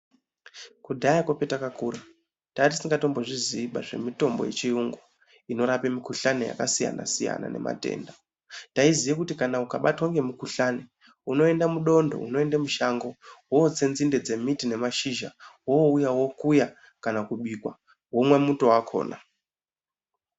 Kudhaya kwatakakura tatisikatombozvizivo zvemitombo yechiyungu inorape mikuhlani yakasiyana siyana nematenda taiziye kuti kana ukabatwe nemukuhlani unoemda mudondo unoenda mushango wotse nzinde dzemiti nemashizha wouya wokuya kana kubika womwa muto wakona .